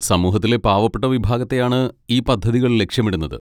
സമൂഹത്തിലെ പാവപ്പെട്ട വിഭാഗത്തെയാണ് ഈ പദ്ധതികൾ ലക്ഷ്യമിടുന്നത്.